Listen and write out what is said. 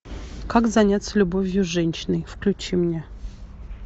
как заняться любовью с женщиной включи мне